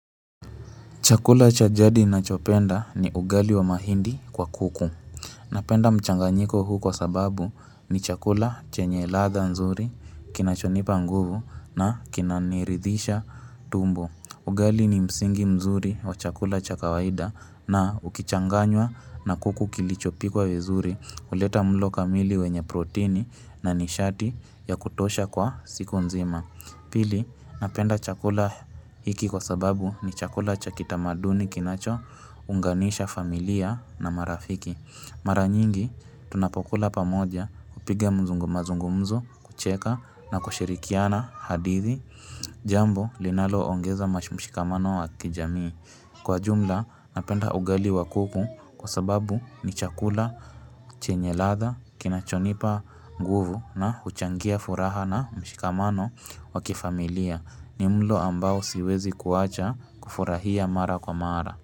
Chakula cha jadi nachopenda ni ugali wa mahindi kwa kuku. Napenda mchanganyiko huu kwa sababu ni chakula chenye latha nzuri kinachonipa nguvu na kinaniridhisha tumbo. Ugali ni msingi mzuri wa chakula cha kawaida na ukichanganywa na kuku kilichopikwa vizuri uleta mlo kamili wenye protini na nishati ya kutosha kwa siku nzima. Pili, napenda chakula hiki kwa sababu ni chakula cha kitamaduni kinacho unganisha familia na marafiki. Mara nyingi, tunapokula pamoja kupiga mzungumazungumzo, kucheka na kushirikiana hadithi jambo linaloongeza mashumshikamano wa kijamii. Kwa jumla napenda ugali wa kuku kwa sababu ni chakula chenye latha, kinachonipa nguvu na uchangia furaha na mshikamano wa kifamilia ni mlo ambao siwezi kuacha kufurahia mara kwa mara.